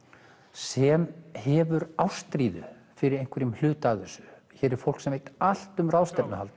sem hefur ástríðu fyrir einhverjum hluta af þessu hér er fólk sem veit allt um ráðstefnuhald